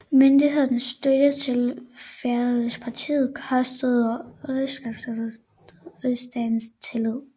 Myndighedernes støtte til Fædrelandspartiet kostede rigskansleren rigsdagens tillid